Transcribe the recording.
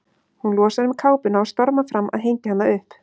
Hún losar um kápuna og stormar fram að hengja hana upp.